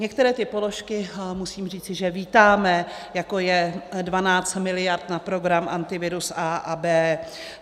Některé ty položky musím říci, že vítáme, jako je 12 mld. na program Antivirus A a B.